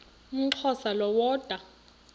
umxhosa lo woda